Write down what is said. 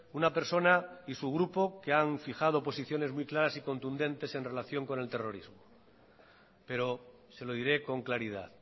una persona y su grupo que han fijado posiciones muy claras y contundentes en relación con el terrorismo pero se lo diré con claridad